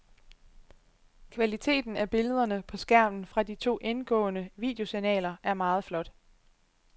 Kvaliteten af billederne på skærmen fra de to indgående videosignaler er meget flot.